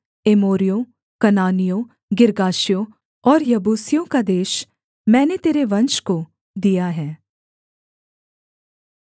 एमोरियों कनानियों गिर्गाशियों और यबूसियों का देश मैंने तेरे वंश को दिया है